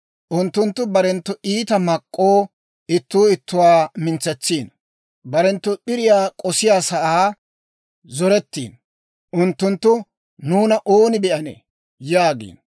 Unttunttu barenttu iita mak'k'oo ittuu ittuwaa mintsetsiino; barenttu p'iriyaa k'osiyaasaa zorettiino. Unttunttu, «nuuna ooni be'anee?» yaagiino.